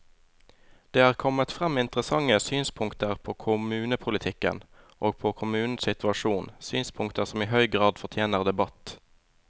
Det er kommet frem interessante synspunkter på kommunepolitikken og på kommunenes situasjon, synspunkter som i høy grad fortjener debatt.